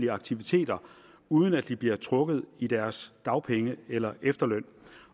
aktiviteter uden at de bliver trukket i deres dagpenge eller efterløn